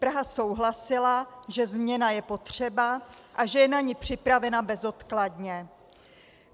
Praha souhlasila, že změna je potřeba a že je na ni připravena bezodkladně.